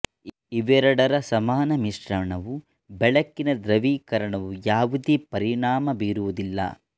ಇವೆರಡರ ಸಮಾನ ಮಿಶ್ರಣವು ಬೆಳಕಿನ ಧೃವಿಕರಣವು ಯಾವುದೇ ಪರಿಣಾಮ ಬೀರುವುದಿಲ್ಲ